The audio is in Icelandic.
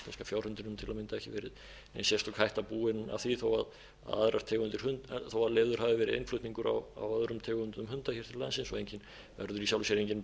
verið nein sérstök hætta búin af því þó aðrar tegundir hunda þó leyfður hafi verið innflutningur á öðrum tegundum hunda hér til landsins og verður í sjálfu sér engin